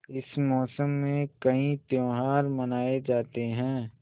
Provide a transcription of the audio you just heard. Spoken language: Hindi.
इस मौसम में कई त्यौहार मनाये जाते हैं